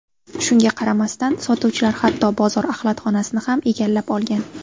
Shunga qaramasdan, sotuvchilar hatto bozor axlatxonasini ham egallab olgan.